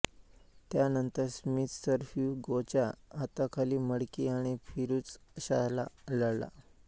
त्या नंतर Smith sir Hugh गोच्या हाताखाली मडकी आणि फिरुझशाहला लढला